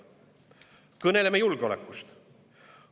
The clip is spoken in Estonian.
" Kõneleme julgeolekust.